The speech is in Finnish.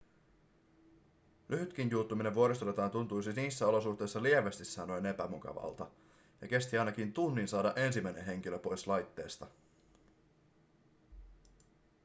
lyhytkin juuttuminen vuoristorataan tuntuisi niissä olosuhteissa lievästi sanoen epämukavalta ja kesti ainakin tunnin saada ensimmäinen henkilö pois laitteesta